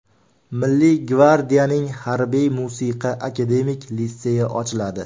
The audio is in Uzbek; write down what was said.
Milliy gvardiyaning Harbiy-musiqa akademik litseyi ochiladi.